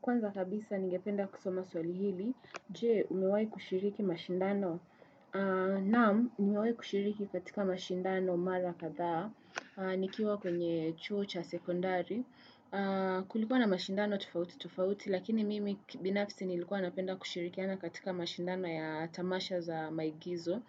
Kwanza kabisa ningependa kusoma swali hili, je umewahi kushiriki mashindano, naam nimewahi kushiriki katika mashindano mara kadhaa, nikiwa kwenye chuo cha sekondari, kulikuwa na mashindano tofauti tofauti, lakini mimi kibinafisi nilikuwa napenda kushirikiana katika mashindano ya tamasha za maigizo.